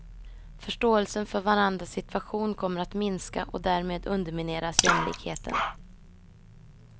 Förståelsen för varandras situation kommer att minska och därmed undermineras jämlikheten.